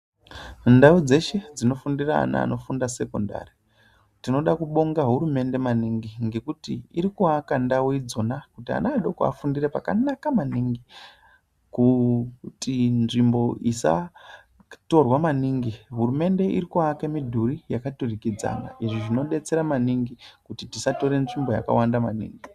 Ndau dzeshe dzinofundira ana anofunda sekondari tinoda kubonga hurumende maningi ngekuti irikuaka ndau idzona kuti ana adoko afundire pakanaka maningi kuti nzvimbo isatorwa maningi hurumende irikuaka midhuri yakaturikidzana izvi zvinodetsera maningi kuti tisatore nzvimbo yakawanda maningi.